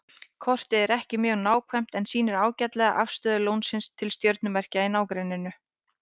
Kortið er ekki mjög nákvæmt en sýnir ágætlega afstöðu Ljónsins til stjörnumerkja í nágrenninu.